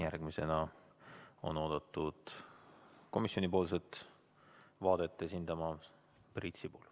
Järgmisena on oodatud komisjoni vaadet esindama Priit Sibul.